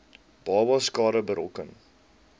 babas skade berokken